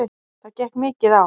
Það gekk mikið á.